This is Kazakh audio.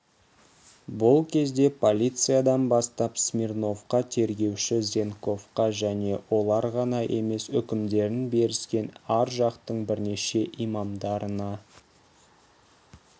бұл кезде полициядан бастап смирновқа тергеуші зенковқа және олар ғана емес үкімдерін беріскен ар жақтың бірнеше имамдарына